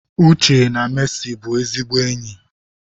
Uche na Mercy bụ ezigbo enyi.